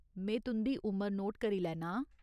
में तुं'दी उमर नोट करी लैनां आं।